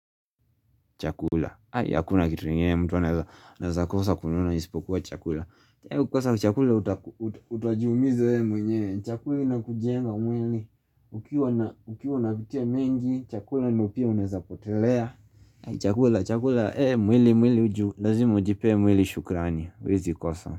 Chakula, hakuna kitu ingine mtu anaweza kosa kununua isipokuwa chakula UkiKosa chakula utajiumiza wewe mwenyewe, chakuli inakujenga mwili Ukiwa unapitia mengi, chakula ndii pia unawazapotelea Chakula, chakula, mwili mwili juu, lazima ujipee mwili shukrani, huwezi kosa.